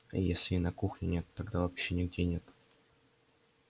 если и на кухне нет тогда вообще нигде нет